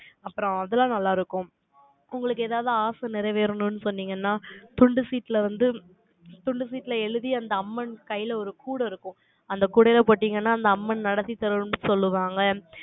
அப்புறம் அதெல்லாம் நல்லா இருக்கும். உங்களுக்கு ஏதாவது ஆசை நிறைவேறணும்னு சொன்னீங்கன்னா, துண்டு சீட்டுல வந்து, துண்டு சீட்டுல எழுதி, அந்த அம்மன் கையில ஒரு கூடை இருக்கும். அந்த கூடையில போட்டீங்கன்னா, அந்த அம்மன் நடத்தி தரும்ன்னு சொல்லுவாங்க